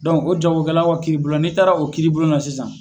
o jagokɛlaw kiribulon n'i taara o kiiribulonna sisan